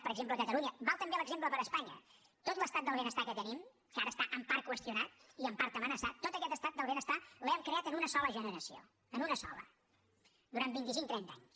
per exemple catalunya val també l’exemple per a espanya tot l’estat del benestar que tenim que ara està en part qüestionat i en part amenaçat tot aquest estat del benestar l’hem creat en una sola generació en una sola durant vint i cinc trenta anys